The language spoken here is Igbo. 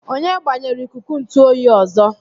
Onye gbanyere ikuku ntụ oyi ọzọ?